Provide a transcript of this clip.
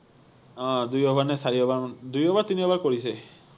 আহ দুই অভাৰ নে চাৰি অভাৰ মান, দুই অভাৰ, তিনি অভাৰ কৰিছে